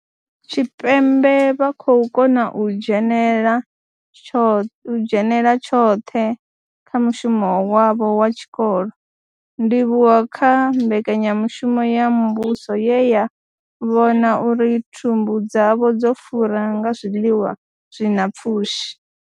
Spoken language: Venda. Tshipembe vha khou kona u dzhenela u dzhenela tshoṱhe kha mushumo wavho wa tshikolo, ndivhuwo kha mbekanyamushumo ya muvhuso ye ya vhona uri thumbu dzavho dzo fura nga zwiḽiwa zwi na pfushi.